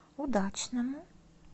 удачному